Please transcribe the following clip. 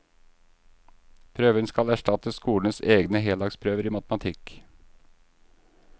Prøven skal erstatte skolenes egne heldagsprøver i matematikk.